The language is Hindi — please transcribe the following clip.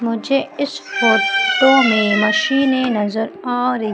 मुझे इस फोटो में मशीने नजर आ रही--